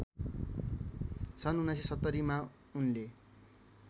सन् १९७० मा उनले